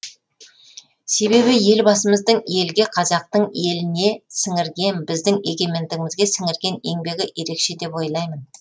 себебі елбасымыздың елге қазақтың еліне сіңірген біздің егемендігімізге сіңірген еңбегі ерекше деп ойлаймын